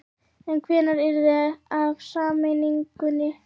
En hvenær yrði af sameiningunni?